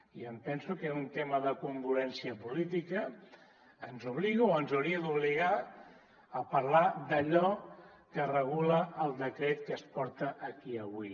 i em penso que un tema de congruència política ens obliga o ens hauria d’obligar a parlar d’allò que regula el decret que es porta aquí avui